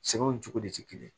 Sɛgɛnw cogo de tɛ kelen ye